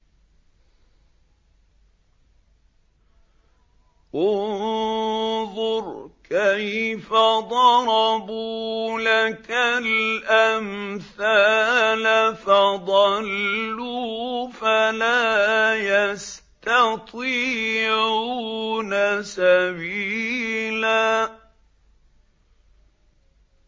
انظُرْ كَيْفَ ضَرَبُوا لَكَ الْأَمْثَالَ فَضَلُّوا فَلَا يَسْتَطِيعُونَ سَبِيلًا